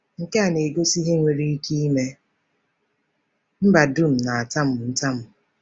Nke a na-egosi ihe nwere ike ime mba dum na-atamu ntamu.